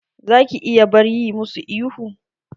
Za ki iya bar yi musu ihu?